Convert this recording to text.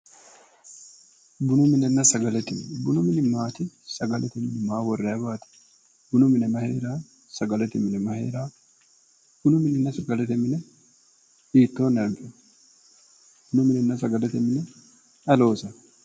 bunu minenna sagalete mine bunu mini maati? sagalete mini maa worrayiwaati? bunu mine mayi heerawo sagalete mine may heerawo? bunu minenna sagalete mine hiittoonni anfeemmo bunu minenna sagalete mine ayi loosawo?